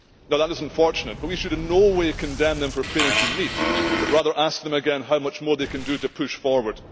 That is unfortunate, but we should in no way condemn them for it. Rather, we should ask them again how much more they can do to push forward.